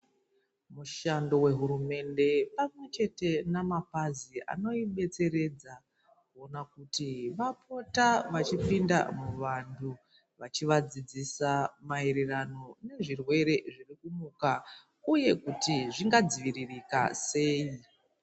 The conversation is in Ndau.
Mushando wehurumende pamwechete namapazi anoidetseredza kuona kuti vapota vachipinda muvantu vachivadzidzisa maererano nezvirwere zvirikumuka. Uye kuti zvingadziviririka sei.